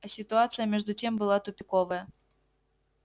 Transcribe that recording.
а ситуация между тем была тупиковая